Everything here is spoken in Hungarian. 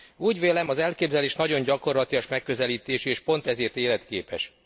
Úgy vélem, az elképzelés nagyon gyakorlatias megközelítésű, és pont ezért életképes.